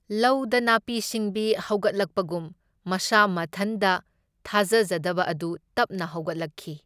ꯂꯧꯗ ꯅꯥꯄꯤ ꯁꯤꯡꯕꯤ ꯍꯧꯒꯠꯂꯛꯄꯒꯨꯝ ꯃꯁꯥ ꯃꯊꯟꯗ ꯊꯥꯖꯖꯗꯕ ꯑꯗꯨ ꯇꯞꯅ ꯍꯧꯒꯠꯂꯛꯈꯤ꯫